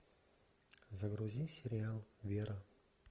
загрузи сериал вера